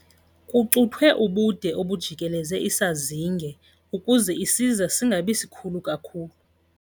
Kucuthwe ubude obujikeleze isazinge ukuze isiza singabi sikhulu kakhulu.